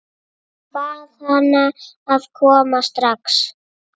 Bað hana að koma strax.